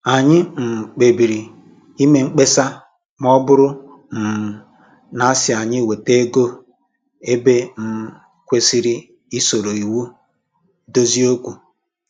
Anyị um kpebiri ime mkpesa ma ọ bụrụ um na-asị anyị weta ego ebe e um kwesịrị isoro iwu dozie okwu